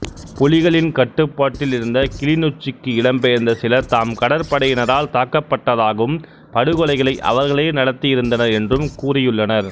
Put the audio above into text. புலிகளின் கட்டுப்பாட்டில் இருந்த கிளிநொச்சிக்கு இடம்பெயர்ந்த சிலர் தாம் கடற்படையினரால் தாக்கப்படட்தாகவும் படுகொலைகளை அவர்களே நடத்தியிருந்தனர் என்றும் கூறியுள்ளனர்